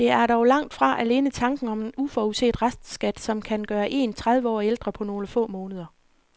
Det er dog langt fra alene tanken om en uforudset restskat, som kan gøre en tredive år ældre på nogle få måneder.